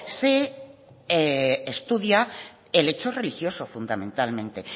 se estudia el hecho religioso fundamentalmente